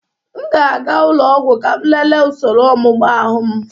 M ga-aga ụlọ ọgwụ ka m lelee usoro ọmụmụ ahu m.